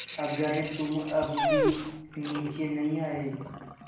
अगर तुम अब भी नीचे नहीं आये